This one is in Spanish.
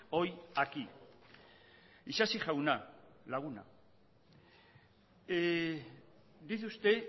hoy aquí isasi jauna laguna dice usted